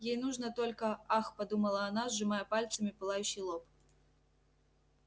ей нужно только ах подумала она сжимая пальцами пылающий лоб